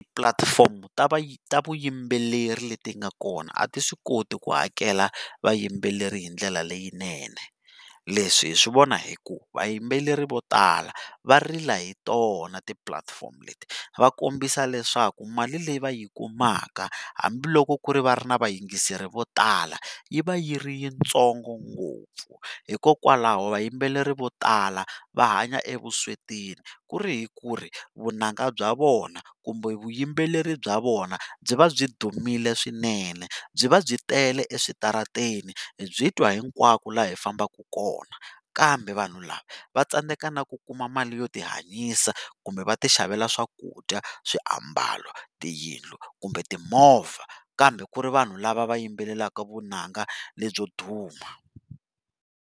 Ti-platform ta ta vuyimbeleri leti nga kona a ti swi koti ku hakela vayimbeleri hi ndlela leyinene, leswi hi swi vona hi ku vayimbeleri vo tala va rila hi tona ti-platform leti, va kombisa leswaku mali leyi va yi kumaka hambiloko ku ri ku va ri na vayingiseri vo tala yi va yi ri yitsongo ngopfu hikokwalaho vayimbeleri vo tala va hanya evusweti ku ri hi ku ri vunanga bya vona kumbe vuyimbeleri bya vona byi va byi dumile swinene byi va byi tele eswitarateni hi byi twa hinkwako laha hi fambaka kona kambe vanhu lava va tsandzeka na ku kuma mali yo tihanyisa kumbe va ti xavela swakudya, swiambalo, tiyindlu kumbe timovha kambe ku ri vanhu lava va yimbelelaka vunanga lebyo duma.